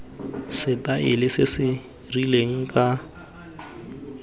setaele se se rileng ka